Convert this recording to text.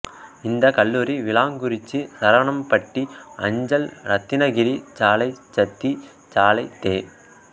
இந்த கல்லூரி விளாங்குறிச்சி சரவணம்பட்டி அஞ்சல் ரத்தினகிரி சாலை சத்தி சாலை தே